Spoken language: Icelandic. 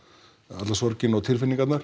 alla sorgina og